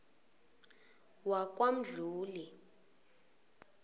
wakwamdluli